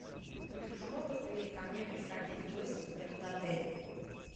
смогут ли ко мне приходить гости в этот отель